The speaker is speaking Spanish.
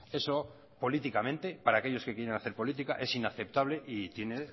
eso políticamente para aquellos que quieren hacer política es inaceptable y tiene